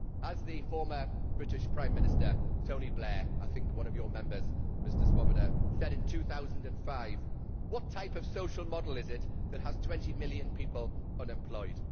As the former British Prime Minister Tony Blair I think a member of your affinity, Mr Swoboda said in 2005 what type of social model is it that has 20 million people unemployed?